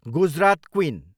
Gujarat queen